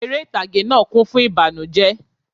Eré ìtàgé náà kún fún ìbànújẹ́